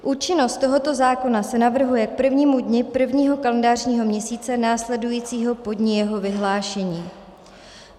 Účinnost tohoto zákona se navrhuje k prvnímu dni prvního kalendářního měsíce následujícího po dni jeho vyhlášení.